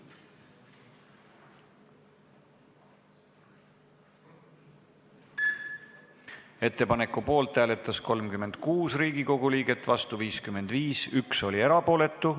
Hääletustulemused Ettepaneku poolt hääletas 36 Riigikogu liiget, vastu oli 55 liiget, 1 jäi erapooletuks.